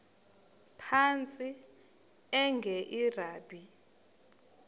phantsi enge lrabi